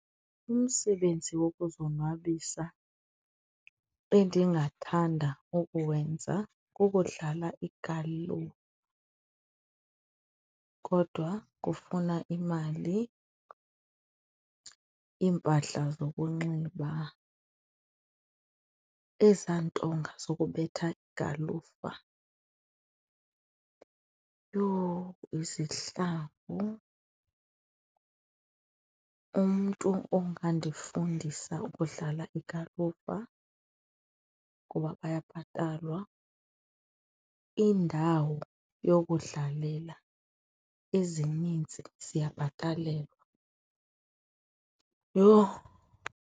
Umsebenzi wokuzonwabisa endingathanda ukuwenza kukudlala igalufu kodwa kufuna imali, iimpahla zokunxiba, ezaa ntonga zokubetha igalufa. Yho! Izihlangu. Umntu ongandifundisa ukudlala igalufa gnoba bayabhatalwa, indawo yokudlalela ezininzi ziyabhatalelwa, yho!